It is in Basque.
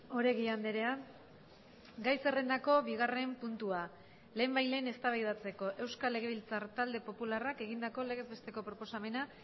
oregi andrea gai zerrendako bigarren puntua lehenbailehen eztabaidatzeko euskal legebiltzar talde popularrak egindako legez besteko proposamena